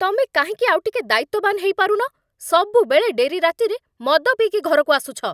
ତମେ କାହିଁକି ଆଉଟିକେ ଦାୟିତ୍ୱବାନ ହେଇପାରୁନ? ସବୁବେଳେ ଡେରି ରାତିରେ ମଦ ପିଇକି ଘରକୁ ଆସୁଛ ।